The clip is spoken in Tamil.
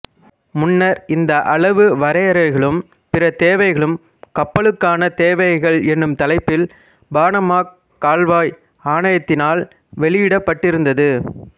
முன்னர் இந்த அளவு வரையறைகளும் பிற தேவைகளும் கப்பல்களுக்கான தேவைகள் என்னும் தலைப்பில் பனாமாக் கால்வாய் ஆணையத்தினால் வெளியிடப்பட்டிருந்தது